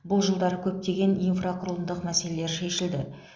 бұл жылдары көптеген инфрақұрылымдық мәселелер шешілді